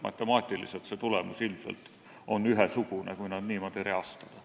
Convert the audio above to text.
Matemaatiliselt oleks tulemus ilmselt ühesugune, kui nad niimoodi reastada.